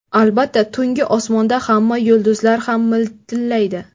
Albatta, tungi osmonda hamma yulduzlar ham miltillaydi.